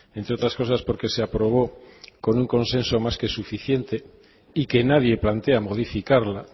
entre otras cosas porque se aprobó con un consenso más que suficiente y que nadie plantea modificarla